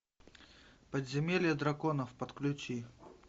подземелье драконов подключи